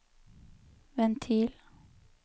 ventil